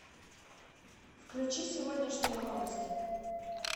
включи сегодняшние новости